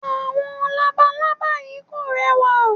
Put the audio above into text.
Àwọn labalábá yí kò rẹwà.